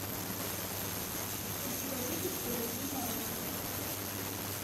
путеводитель по любви нарой